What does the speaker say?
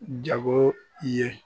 Jago i ye